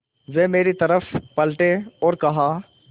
वे मेरी तरफ़ पलटे और कहा